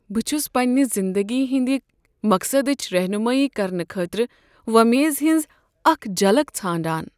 بہٕ چھس پنٛنہ زندگی ہنٛد مقصدٕچ رہنمٲیی کرنہٕ خٲطرٕ وۄمیز ہٕنٛز اکھ جھلک ژھانٛڈان۔